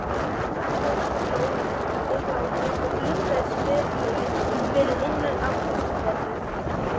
Konan hló dillandi hlátri og blikkaði sperrilegginn fyrir innan afgreiðsluborðið.